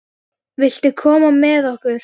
Viltu koma með okkur?